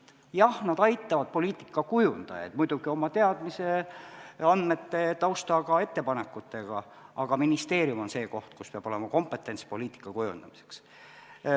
Jah, nad aitavad poliitikakujundajaid muidugi oma teadmiste, andmete, tausta ja ettepanekutega, aga ministeerium on see koht, kus peab olema kompetents poliitika kujundamiseks.